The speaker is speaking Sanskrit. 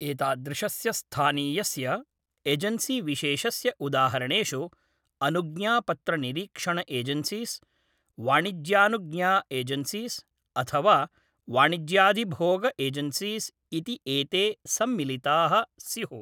एतादृशस्य स्थानीयस्य एजन्सीविशेषस्य उदाहरणेषु, अनुज्ञापत्रनिरीक्षण एजन्सीस्, वाणिज्यानुज्ञा एजन्सीस् अथवा वाणिज्याधिभोग एजन्सीस् इति एते सम्मिलिताः स्युः।